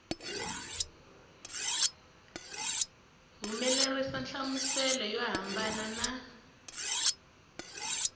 humelerisa nhlamuselo yo hambana na